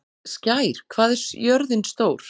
Skær, hvað er jörðin stór?